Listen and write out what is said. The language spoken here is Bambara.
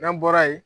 N'an bɔra yen